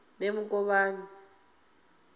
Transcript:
nemukovhani